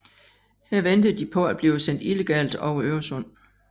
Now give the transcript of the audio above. Her ventede de på at blive sendt illegalt over Øresund